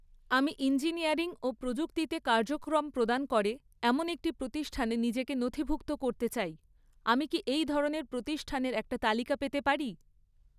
আমি ইঞ্জিনিয়ারিং ও প্রযুক্তিতে কার্যক্রম প্রদান করে এমন একটি প্রতিষ্ঠানে নিজেকে নথিভুক্ত করতে চাই, আমি কি এই ধরনের প্রতিষ্ঠানের একটি তালিকা পেতে পারি?